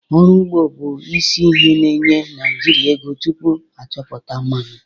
Ọrụ ugbo bụ isi ihe na-enye Naịjirịa ego tupu a chọpụta mmanụ.